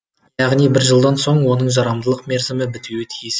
яғни бір жылдан соң оның жарамдылық мерзімі бітуі тиіс еді